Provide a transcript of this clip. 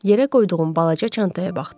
Yerə qoyduğum balaca çantaya baxdı.